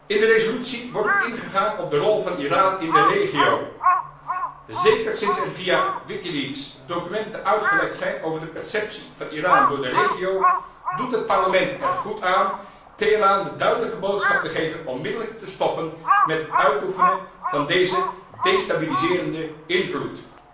In de resolutie wordt ook ingegaan op de rol van Iran in de regio. Zeker sinds er via wikileaks documenten uitgelekt zijn over de perceptie van Iran door de regio, doet het Parlement er goed aan Teheran de duidelijke boodschap te geven onmiddellijk te stoppen met het uitoefenen van deze destabiliserende invloed.